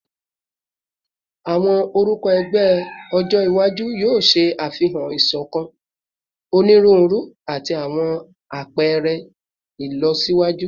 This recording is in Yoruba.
Awọn orukọ ẹgbẹ ọjọ iwaju yoo ṣe afihan isokan, oniruuru, ati awọn apẹrẹ ilọsiwaju